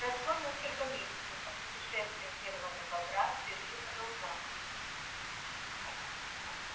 прошло несколько месяцев а путешествие серого бобра всё ещё продолжалось